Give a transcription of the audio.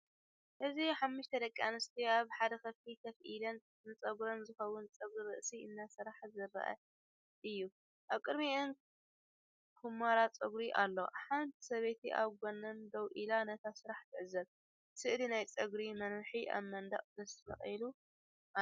እዚ ሓሙሽተ ደቂ ኣንስትዮ ኣብ ሓደ ክፍሊ ኮፍ ኢለን ንጸጉሪ ዝኸውን ጸጉሪ ርእሲ እናሰርሓ ዘርኢ እዩ። ኣብ ቅድሚኦም ኵምራ ጸጉሪ ኣሎ። ሓንቲ ሰበይቲ ኣብ ጎድኒ ደው ኢላ ነቲ ስራሕ ትዕዘብ። ስእሊ ናይ ጸጉሪ መናውሒ ኣብ መንደቕ ተሰቒሉ ኣሎ።